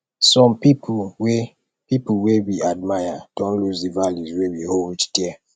some pipo wey pipo wey we admire don lose di values wey we hold dear